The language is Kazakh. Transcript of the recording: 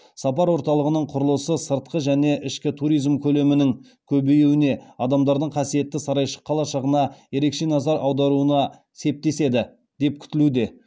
сапар орталығының құрылысы сыртқы және ішкі туризм көлемінің көбеюіне адамдардың қасиетті сарайшық қалашығына ерекше назар аударуына септеседі деп күтілуде